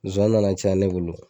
Zowani nana caya ne bolo.